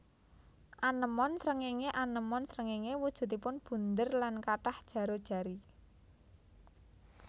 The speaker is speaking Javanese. Anémon srengéngé anémon srengéngé wujudipun bunder lan kathah jaro jari